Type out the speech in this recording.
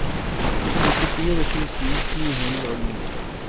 nittifire tusen ni hundre og ni